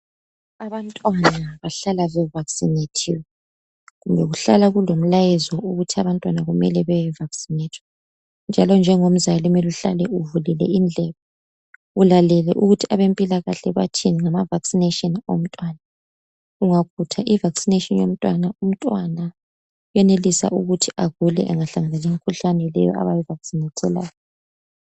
Abantwana bahlala be vavinathiwe kumbe kuhlala kulomlayezo ukuthi abantwana kumele beye vasinethwa njalo njengomzala kumele uhlale uvulile indlebe ulalele ukuthi abempilakahle bathini ngama vaccination womntwana ungakhutha i vaccination yomntwana, umntwana uyenelisa ukuthi agule engahlangana lemkhuhlane le abawu vacinethelwayo